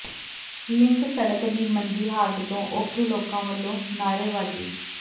link ਸੜਕ ਦੀ ਮੰਦੀ ਹਾਲਤ ਤੋਂ ਔਖੇ ਲੋਕਾਂ ਵੱਲੋਂ ਨਾਅਰੇਬਾਜ਼ੀ